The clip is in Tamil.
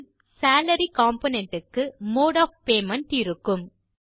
இதில் சாலரி காம்போனன்ட் க்கு மோடு ஒஃப் பேமெண்ட் இருக்கும்